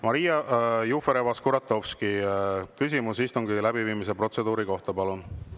Maria Jufereva-Skuratovski, küsimus istungi läbiviimise protseduuri kohta, palun!